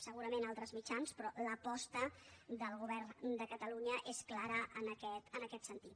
segurament altres mitjans però l’aposta del govern de catalunya és clara en aquest sentit